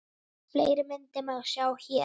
Fleiri myndir má sjá hér